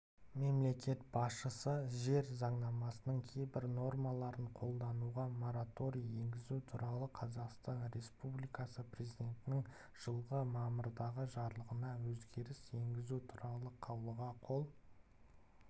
мемлекет басшысы жер заңнамасының кейбір нормаларын қолдануға мораторий енгізу туралы қазақстан республикасы президентінің жылғы мамырдағы жарлығына өзгеріс енгізу туралы қаулыға қол